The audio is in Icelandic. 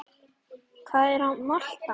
Hvað er molta?